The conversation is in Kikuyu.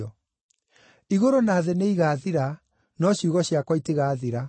Igũrũ na thĩ nĩigathira, no ciugo ciakwa itigathira.